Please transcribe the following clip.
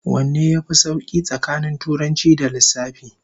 Wanne yafi sauki tsakanin Turanci da Lissafi?